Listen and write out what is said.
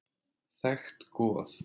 Þekkt goð.